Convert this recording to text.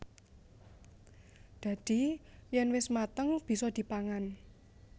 Dadi yèn wis mateng bisa dipangan